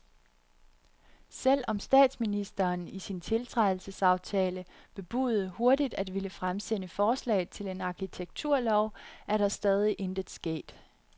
Selv om statsministeren i sin tiltrædelsesaftale bebudede hurtigt at ville fremsætte forslag til en arkitekturlov, er der stadig intet sket.